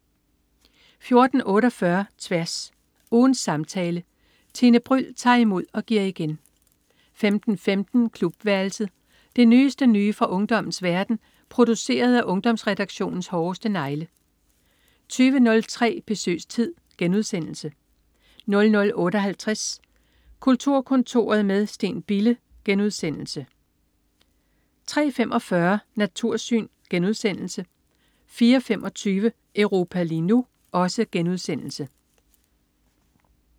14.48 Tværs. Ugens samtale. Tine Bryld tager imod og giver igen 15.15 Klubværelset. Det nyeste nye fra ungdommens verden, produceret af Ungdomsredaktionens hårdeste negle 20.03 Besøgstid* 00.58 Kulturkontoret med Steen Bille* 03.45 Natursyn* 04.25 Europa lige nu*